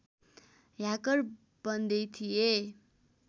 hacker बन्दै थिए